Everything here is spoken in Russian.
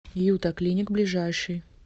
юта клиник ближайший